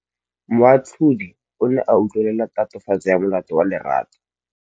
Moatlhodi o ne a utlwelela tatofatsô ya molato wa Lerato.